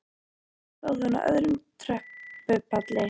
Annað kvöld stóð hún á öðrum tröppupalli.